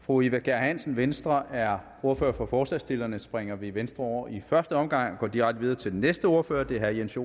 fru eva kjer hansen venstre er ordfører for forslagsstillerne springer vi venstre over i første omgang og går direkte videre til den næste ordfører og det er herre jens